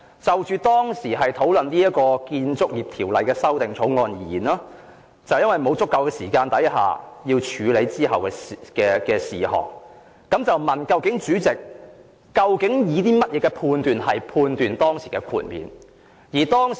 "就當時討論的《2000年建築物管理條例草案》而言，由於沒有足夠時間處理之後的事項，他便問主席究竟以甚麼準則判斷當時的豁免。